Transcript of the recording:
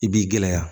I b'i gɛlɛya